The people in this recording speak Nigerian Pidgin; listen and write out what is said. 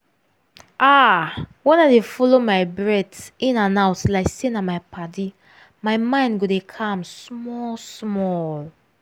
ah! when i dey follow my breath in and out like say na my padi my mind go dey calm small-small.